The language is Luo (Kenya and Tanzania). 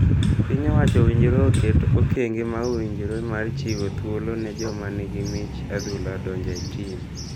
piny owacho owinjore oket okenge ma owinjiore mar chiwo thuolo ne joma ni gi mich adhula donjo e tim.